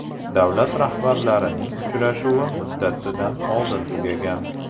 Davlat rahbarlarining uchrashuvi muddatidan oldin tugagan.